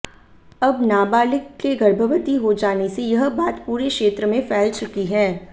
अब नाबालिग के गर्भवती हो जाने से यह बात पूरे क्षेत्र में फैल चुकी है